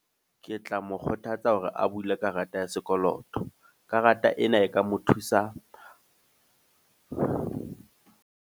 Ke tla mo kgothatsa hore a bule karata ya sekoloto. Karata ena e ka mo thusa.